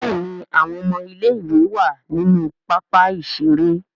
Béèni àwọn ọmọ ilé ìwé wá nínú pápá ìṣeré..